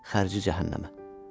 Xərcə cəhənnəmə.